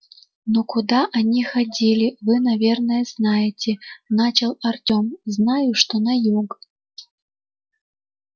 ну куда они ходили вы наверное знаете начал артём знаю что на юг